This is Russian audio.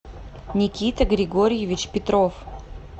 никита григорьевич петров